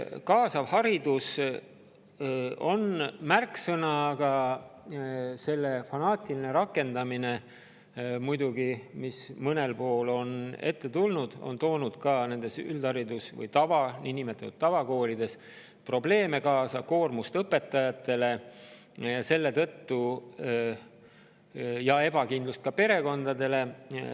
Kaasav haridus on märksõna, aga selle fanaatiline rakendamine, mida mõnel pool on ette tulnud, on üldharidus- või niinimetatud tavakoolides muidugi kaasa toonud probleeme, õpetajate koormust ja ebakindlust perekondades.